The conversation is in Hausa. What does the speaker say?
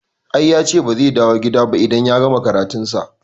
I yace ba zai dawo gida ba idan ya gama karatu sa